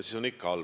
Ikka on halb!